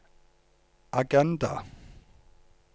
agenda